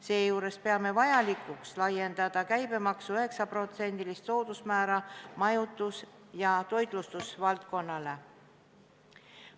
Seejuures peame vajalikuks laiendada käibemaksu 9%-list soodusmäära majutus- ja toitlustusvaldkonnale.